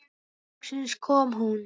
Loksins kom hún.